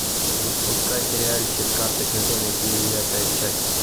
запускай сериальчик карточный домик девятая часть